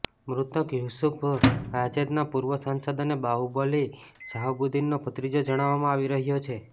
મૃતક યુસુફ રાજદના પૂર્વ સાંસદ અને બાહુબલી શહાબુદ્દીનનો ભત્રીજો જણાવવામાં આવી રહ્યો છે